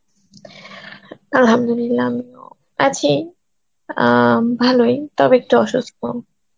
Arbi , আমিও আছি অ্যাঁ ভালোই তবে একটু অসুস্থ.